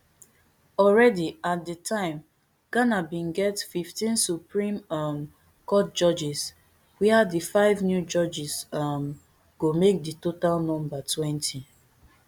already at di time ghana bin get fifteen supreme um court judges wia di five new judges um go make di total number twenty